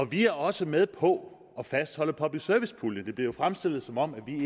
vi er også med på at fastholde public service puljen det bliver jo fremstillet som om